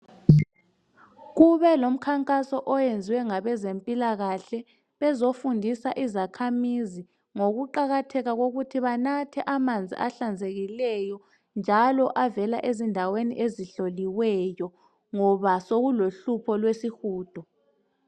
Kube lomkhankaso oyenziwe ngabezempilakahle bezofundisa izakhamizi ngokuqakatheka kokuthi banathe amanzi ahlanzekileyo njalo avela ezindaweni ezihloliweyo ngoba sokulohlupho lwesihudo.